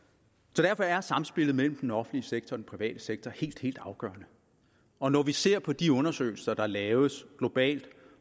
derfor er samspillet mellem den offentlige sektor og den private sektor helt afgørende og når vi ser på de undersøgelser der laves globalt af